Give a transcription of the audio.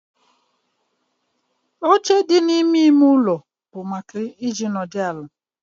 Oche dị n'ime ime ụlọ bụ maka ịnọdụ ala